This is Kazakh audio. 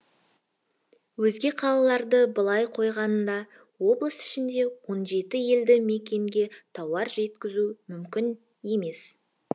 өзге қалаларды былай қойғанда облыс ішіндегі он жеті елді мекенге тауар жеткізу мүмкін емес